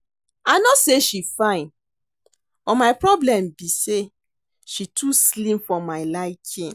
I no say she fine but my problem be say she too slim for my liking